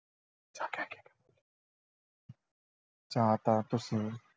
ਜਾਂ ਤਾਂ ਤੁਸੀਂ